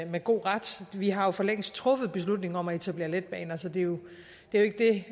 med god ret vi har for længst truffet beslutningen om at etablere letbaner så det er jo ikke det